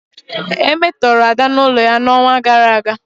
E metọrọ Ada n'ụlọ ya n'ọnwa gara aga.